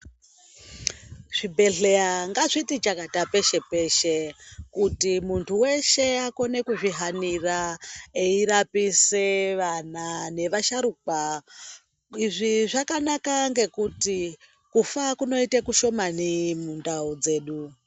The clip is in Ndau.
Zvi bhedhleya ngazviti chakati peshe peshe kuti muntu weshe akone kuzvi hanira eyi rapise vana ne vasharukwa izvi zvakanaka ngekuti kufa kunoita kushomani mu ndau dzedu.